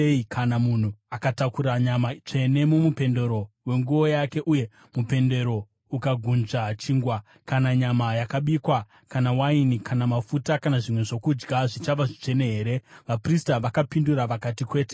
Kana munhu akatakura nyama tsvene mumupendero wenguo yake, uye mupendero ukagunzva chingwa kana nyama yakabikwa, kana waini, kana mafuta kana zvimwe zvokudya, zvichava zvitsvene here?’ ” Vaprista vakapindura vakati, “Kwete.”